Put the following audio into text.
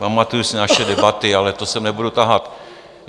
Pamatuji si naše debaty, ale to sem nebudu tahat.